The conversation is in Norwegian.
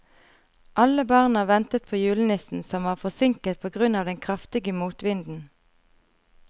Alle barna ventet på julenissen, som var forsinket på grunn av den kraftige motvinden.